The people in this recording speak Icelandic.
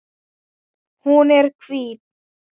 Hún er hvít.